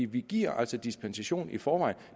vi giver altså dispensation i forvejen